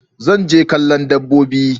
Zan je kallo dabbobi.